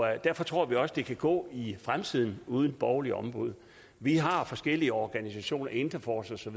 derfor tror vi også det kan gå i fremtiden uden borgerligt ombud vi har forskellige organisationer interforce